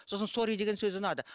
сосын сорри деген сөзі ұнады